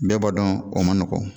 Bɛɛ b'a dɔn o man nɔgɔn